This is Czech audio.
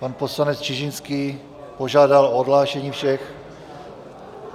Pan poslanec Čižinský požádal o odhlášení všech.